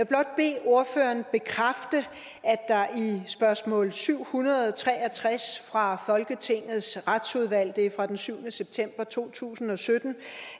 blot bede ordføreren bekræfte at i spørgsmål syv hundrede og tre og tres fra folketingets retsudvalg det er fra den syvende september to tusind og sytten